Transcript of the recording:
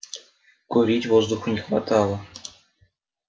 курить воздуха не хватало